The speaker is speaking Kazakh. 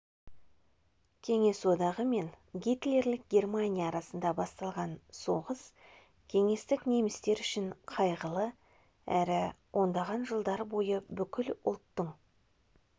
кеңес одағы мен гитлерлік германия арасында басталған соғыс кеңестік немістер үшін қайғылы әрі ондаған жылдар бойы бүкіл ұлттың